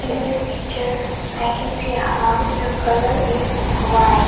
In this picture I can see a house. The colour is white.